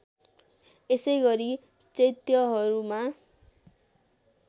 यसैगरी चैत्यहरूमा